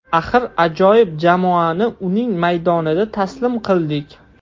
Axir ajoyib jamoani uning maydonida taslim qildik.